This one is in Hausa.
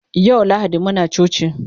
yau lahadi Muna coci